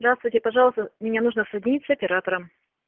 здравствуйте пожалуйста мне нужно соединить с оператором